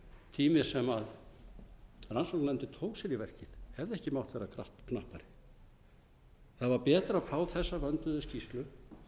tími sem rannsóknarnefndin tók sér í verkið hefði ekki mátt vera knappari það var betra að fá þessa vönduðu skýrslu